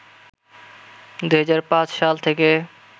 ২০০৫ সাল থেকে